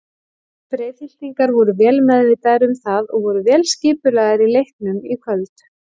Breiðhyltingar voru vel meðvitaðir um það og voru vel skipulagðir í leiknum í kvöld.